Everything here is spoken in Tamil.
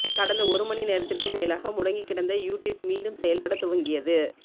கடந்த ஒரு மணிநேரத்திற்கும் மேலாக முடங்கிக் கிடந்த யூடியூப் மீண்டும் செயல்படத் துவங்கியது